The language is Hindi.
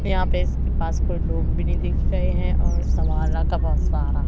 यहां पे इसके पास कोई लोग भी नहीं दिख रहे हैं और सवाला का बहुत सारा--